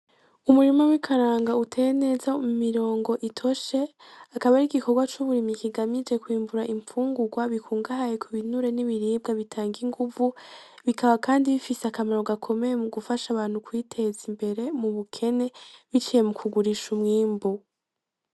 Umurima w'ikaranga uteye neza mu mirongo itoshe akaba ari igikorwa c'uburimyi kigamije kwimbura imfungurwa zikungahaye kubinure n'ibiribwa bitanga inguvu bikaba kandi bifise akamaro gakomeye mugufasha abantu kwiteza imbere mu bukene biciye mu kugurisha umwimbu.